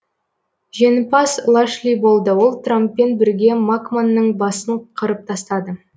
жеңімпаз лашли болды ол трамппен бірге макманның басын қырып тастады